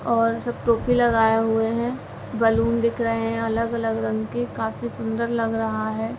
और सब टोपी लगाए हुए हैं। बलून दिख रहे हैं अलग-अलग रंग के। काफी सुंदर लग रहा है।